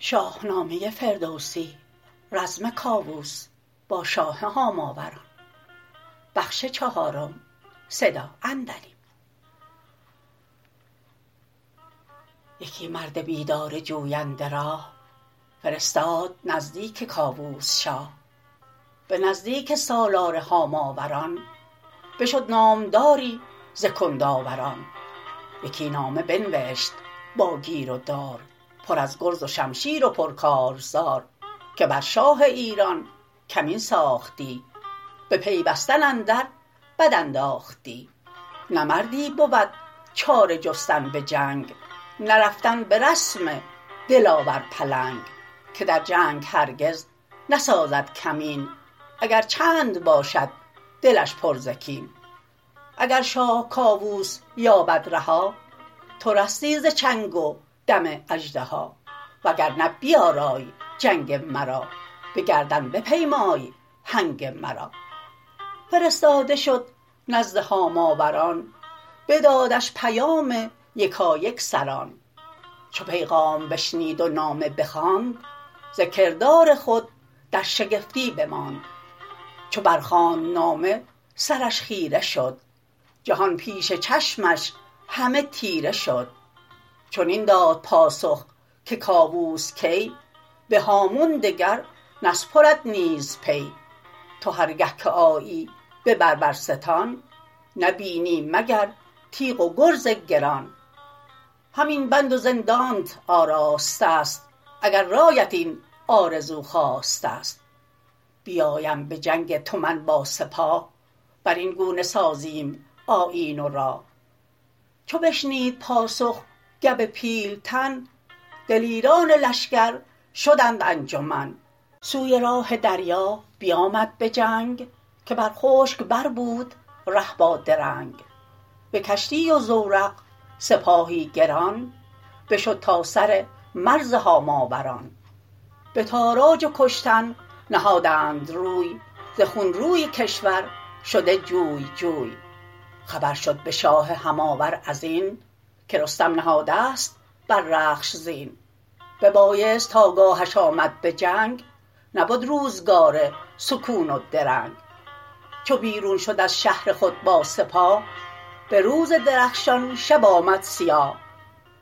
یکی مرد بیدار جوینده راه فرستاد نزدیک کاووس شاه به نزدیک سالار هاماوران بشد نامداری ز کندآوران یکی نامه بنوشت با گیر و دار پر از گرز و شمشیر و پرکارزار که بر شاه ایران کمین ساختی بپیوستن اندر بد انداختی نه مردی بود چاره جستن به جنگ نرفتن به رسم دلاور پلنگ که در جنگ هرگز نسازد کمین اگر چند باشد دلش پر ز کین اگر شاه کاووس یابد رها تو رستی ز چنگ و دم اژدها وگرنه بیارای جنگ مرا به گردن بپیمای هنگ مرا فرستاده شد نزد هاماوران بدادش پیام یکایک سران چو پیغام بشنید و نامه بخواند ز کردار خود در شگفتی بماند چو برخواند نامه سرش خیره شد جهان پیش چشمش همه تیره شد چنین داد پاسخ که کاووس کی به هامون دگر نسپرد نیز پی تو هرگه که آیی به بربرستان نبینی مگر تیغ و گرز گران همین بند و زندانت آراستست اگر رایت این آرزو خواستست بیایم بجنگ تو من با سپاه برین گونه سازیم آیین و راه چو بشنید پاسخ گو پیلتن دلیران لشکر شدند انجمن سوی راه دریا بیامد به جنگ که بر خشک بر بود ره با درنگ به کشتی و زورق سپاهی گران بشد تا سر مرز هاماوران به تاراج و کشتن نهادند روی ز خون روی کشور شده جوی جوی خبر شد به شاه هماور ازین که رستم نهادست بر رخش زین ببایست تا گاهش آمد به جنگ نبد روزگار سکون و درنگ چو بیرون شد از شهر خود با سپاه به روز درخشان شب آمد سیاه